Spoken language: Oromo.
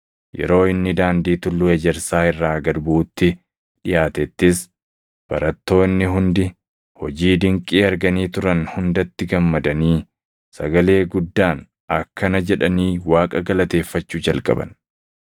Yeroo inni daandii Tulluu Ejersaa irraa gad buʼutti dhiʼaatettis, barattoonni hundi hojii dinqii arganii turan hundatti gammadanii, sagalee guddaan akkana jedhanii Waaqa galateeffachuu jalqaban.